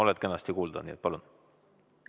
Oled kenasti kuulda, palun!